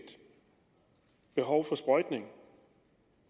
behov for sprøjtning